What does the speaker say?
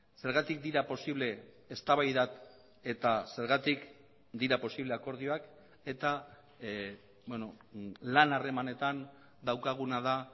zergatik dira posible eztabaidak eta zergatik dira posible akordioak eta lan harremanetan daukaguna da